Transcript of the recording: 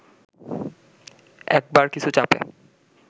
একবার কিছু চাপে